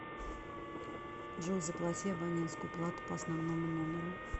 джой заплати абонентскую плату по основному номеру